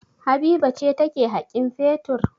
Habiba ce take haƙin fetur.